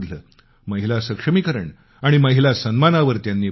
महिला सक्षमीकरण आणि महिला सन्मानावर त्यांनी भर दिला